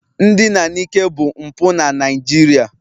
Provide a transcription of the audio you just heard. Ndina n'ike bụ mpụ na Naịjirịa